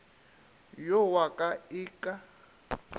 yo wa ka e ke